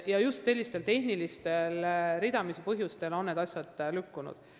Just sellistel tehnilistel põhjustel on need asjad ridamisi lükkunud.